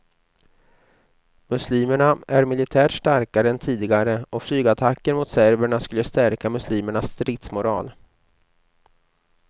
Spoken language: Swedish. Muslimerna är militärt starkare än tidigare, och flygattacker mot serberna skulle stärka muslimernas stridsmoral.